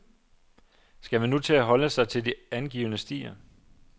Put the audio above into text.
Skal man nu til at holde sig til angivne stier?